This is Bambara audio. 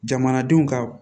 Jamanadenw ka